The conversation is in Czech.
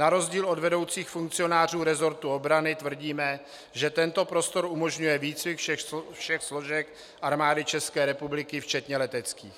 Na rozdíl od vedoucích funkcionářů resortu obrany tvrdíme, že tento prostor umožňuje výcvik všech složek Armády České republiky včetně leteckých.